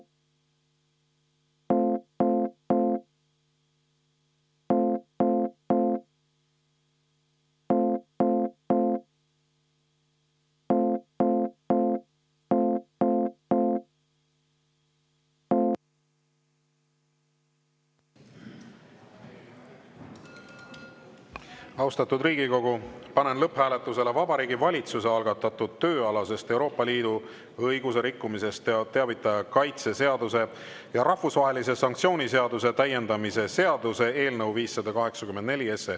Austatud Riigikogu, panen lõpphääletusele Vabariigi Valitsuse algatatud tööalasest Euroopa Liidu õiguse rikkumisest teavitaja kaitse seaduse ja rahvusvahelise sanktsiooni seaduse täiendamise seaduse eelnõu 584.